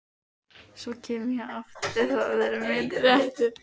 Svo kem ég aftur, það er minn réttur.